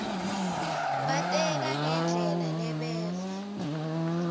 bateka ngendlela lebeva